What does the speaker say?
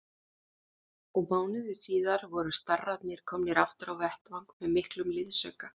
Og mánuði síðar voru starrarnir komnir aftur á vettvang með mikinn liðsauka.